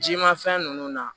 Jimafɛn ninnu na